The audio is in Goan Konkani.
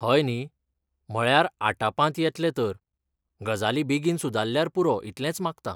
हय न्ही, म्हळ्यार आटापांत येतलें तर, गजाली बेगीन सुदारल्यार पुरो इतलेंच मागतां.